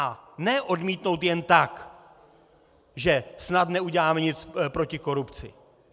A ne odmítnout jen tak, že snad neuděláme nic proti korupci.